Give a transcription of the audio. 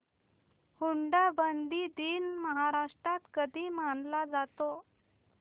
हुंडाबंदी दिन महाराष्ट्रात कधी मानला जातो